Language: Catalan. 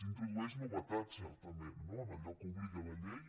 introdueix novetats certament no en allò a què obliga la llei